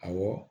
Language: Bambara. Awɔ